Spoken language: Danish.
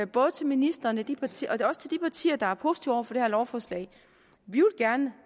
både til ministeren og til de partier der er positive over for det her lovforslag at vi gerne